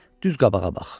Düz qabağa bax.